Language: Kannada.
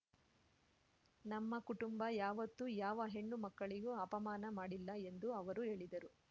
ನಮ್ಮ ಕುಟುಂಬ ಯಾವೊತ್ತು ಯಾವ ಹೆಣ್ಣು ಮಕ್ಕಳಿಗೂ ಅಪಮಾನ ಮಾಡಿಲ್ಲ ಎಂದು ಅವರು ಹೇಳಿದರು